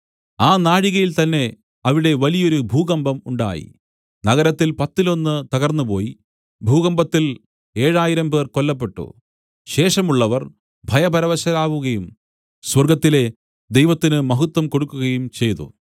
ആ നാഴികയിൽ തന്നെ അവിടെ വലിയൊരു ഭൂകമ്പം ഉണ്ടായി നഗരത്തിൽ പത്തിലൊന്ന് തകർന്നുപോയി ഭൂകമ്പത്തിൽ ഏഴായിരം പേർ കൊല്ലപ്പെട്ടു ശേഷമുള്ളവർ ഭയപരവശരാവുകയും സ്വർഗ്ഗത്തിലെ ദൈവത്തിന് മഹത്വം കൊടുക്കുകയും ചെയ്തു